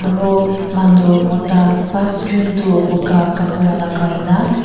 aro manu mota pasjun tu buka kapra lagai nah--